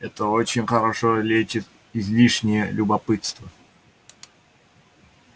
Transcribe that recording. это очень хорошо лечит излишнее любопытство